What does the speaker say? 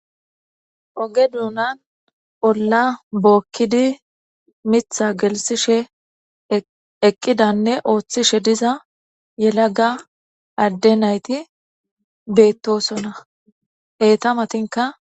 oge duunan olla bookkidi mitha gelsishe eqqidanne ooththishe diza yelaga adde nayti beettosonna eta matinka